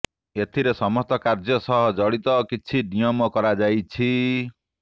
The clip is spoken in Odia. ଏଥିରେ ସମସ୍ତ କାର୍ଯ୍ୟ ସହ ଜଡ଼ିତ କିଛି ନିୟମ କରାଯାଇଛି